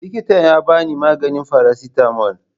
Likitan ya ba ni maganin faracetamol.